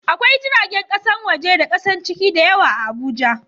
Akwai jiragen kasan waje da kasan ciki da yawa a Abuja